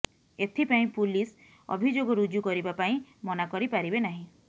ଏଥିପାଇଁ ପୁଲିସ ଅଭିଯୋଗ ରୁଜୁ କରିବା ପାଇଁ ମନା କରିପାରିବେ ନାହିଁ